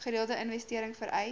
gereelde investering vereis